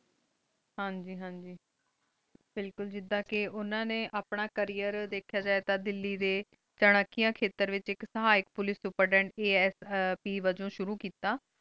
ਹਨ ਜੀ ਹਨ ਜੀ ਬਿਲਕੁਲ ਜਿਦਾਂ ਕੀ ਉਨਾ ਨੀ ਆਪਣਾ career ਦੇਖੇਯਾ ਜੇ ਥਾਂ ਚਨਾ ਕਰੀਂ ਖਾਤੇਯਾਂ ਡੀ ਵੇਚ ਆਇਕ ਸਹਾਇਕ ਪੁਲਿਕੇ ਡੀ ਕਦੇਂ asp ਸ਼ੁਰੂ ਕੀਤਾ